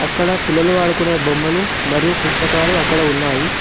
ఇక్కడ పిల్లలు ఆడుకోనే బొమ్మలు మరియు పుస్తకాలు అక్కడ ఉన్నాయి.